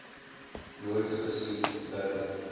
nooit gesien verder